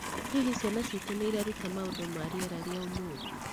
Hihi Ciana Ciitũ nĩ Ireruta maũndũ ma rĩera rĩa ũmũthĩ?